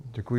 Děkuju.